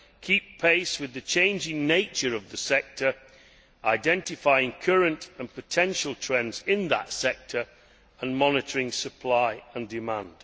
keep pace with the changing nature of the sector, identifying current and potential trends in that sector and monitoring supply and demand.